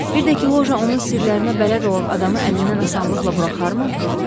Bir də ki, loja onun sirlərinə bələd olan adamı əlindən asanlıqla buraxarmı?